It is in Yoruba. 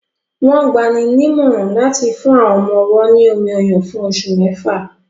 Wọ́n gbani nímọ̀ràn láti fún àwọn ọmọ-ọwọ́ ní omi-ọyàn fún oṣù mẹ́fà